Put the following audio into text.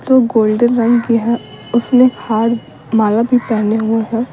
तो गोल्डन रंग की है उसने हार माला भी पहने हुए हैं।